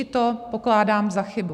I to pokládám za chybu.